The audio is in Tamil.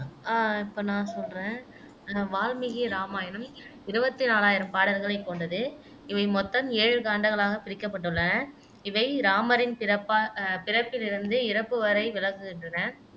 அஹ் இப்போ நான் சொல்லுறேன் அஹ் வால்மீகி ராமாயணம் இருவத்தி நாலாயிரம் பாடல்களை கொண்டது இவை மொத்தம் ஏழு காண்டங்களாக பிரிக்கப்பட்டுள்ளன இவை ராமரின் பிறப்பா அஹ் பிறப்பிலிருந்து இறப்பு வரை விளக்குகின்றன